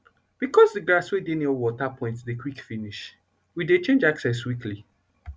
becos d grass wey de near water point dey quick finish we dey change access weekly